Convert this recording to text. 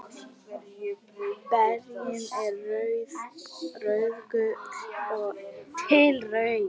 Berin eru rauðgul til rauð.